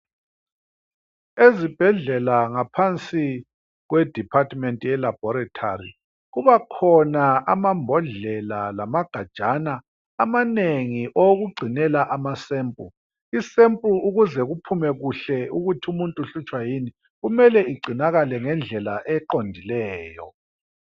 Ezibhedlela ngaphansi kwediphathimenti yelabhoretari kubhakhona amambhodlela lamagajana amanengi okugcinela amasempu, isempu ukuze kuphume kuhle ukuthi umuntu uhlutshwa yin, kumele kugcinakale ngendlela eqondileyo.